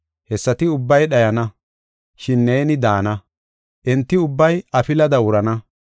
Hessati ubbay dhayana; shin neeni daana. Enti ubbay afilada wurana.